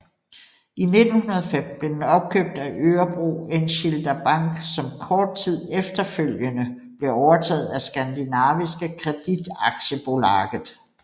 I 1905 blev den opkøbt af Örebro enskilda bank som kort tid efterfølgende blev overtaget af Skandinaviska Kreditaktiebolaget